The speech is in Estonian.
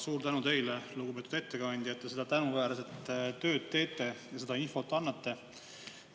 Suur tänu teile, lugupeetud ettekandja, et te seda tänuväärset tööd teete ja seda infot annate!